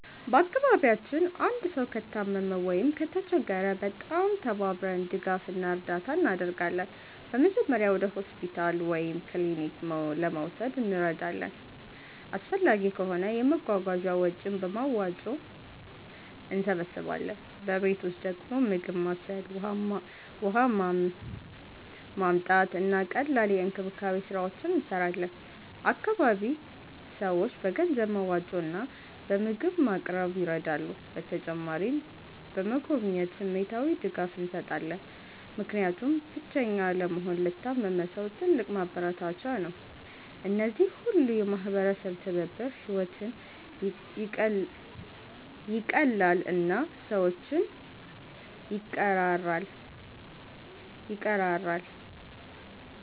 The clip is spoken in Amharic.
በአካባቢያችን አንድ ሰው ከታመመ ወይም ከተቸገረ በጣም ተባብረን ድጋፍ እና እርዳታ እናደርጋለን። በመጀመሪያ ወደ ሆስፒታል ወይም ክሊኒክ ለመውሰድ እንረዳለን፣ አስፈላጊ ከሆነ የመጓጓዣ ወጪን በመዋጮ እንሰብስባለን። በቤት ውስጥ ደግሞ ምግብ ማብሰል፣ ውሃ ማመጣት፣ እና ቀላል የእንክብካቤ ስራዎች እንሰራለን። አካባቢ ሰዎች በገንዘብ መዋጮ እና በምግብ ማቅረብ ይረዳሉ። በተጨማሪም በመጎብኘት ስሜታዊ ድጋፍ እንሰጣለን፣ ምክንያቱም ብቸኛ አለመሆን ለታመመ ሰው ትልቅ ማበረታቻ ነው። እነዚህ ሁሉ የማህበረሰብ ትብብር ሕይወትን ይቀላል እና ሰዎችን ይቀራራል።